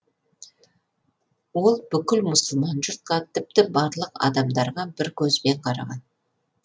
ол бүкіл мұсылман жұртқа тіпті барлық адамдарға бір көзбен қараған